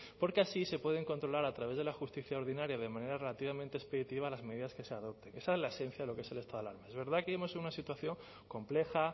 porque así se pueden controlar a través de la justicia ordinaria de manera relativamente expeditiva las medidas que se adopten esa es la esencia de lo que es el estado de alarma es verdad que vivimos en una situación compleja